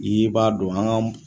N'i b'a dɔn an ka